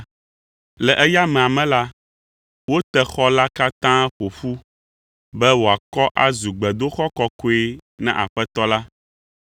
Le eya amea me la, wote xɔ la katã ƒo ƒu be wòakɔ azu gbedoxɔ kɔkɔe na Aƒetɔ la.